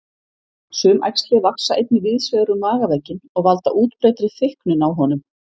Sum æxli vaxa einnig víðs vegar um magavegginn og valda útbreiddri þykknun á honum.